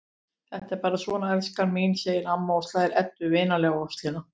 Þetta er bara svona, elskan mín, segir amma og slær Eddu vinalega á öxlina.